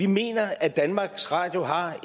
mener at danmarks radio har